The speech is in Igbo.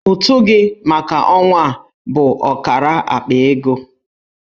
Ụtụ gị maka ọnwa a bụ ọkara akpa ego.